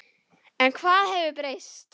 En hvað hefur breyst?